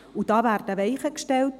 Damit werden Weichen gestellt.